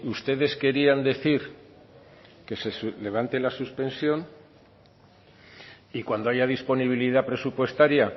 ustedes querían decir que se levante la suspensión y cuando haya disponibilidad presupuestaria